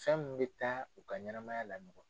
Fɛn min bɛ taa u ka ɲɛnamaya laɲɔgɔn.